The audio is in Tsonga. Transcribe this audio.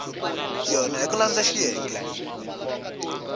yona hi ku landza xiyenge